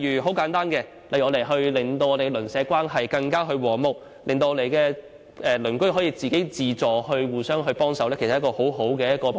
很簡單，例如我們希望令鄰舍關係更和睦，鄰居可以自發互相幫忙，這其實是一個很好的目標。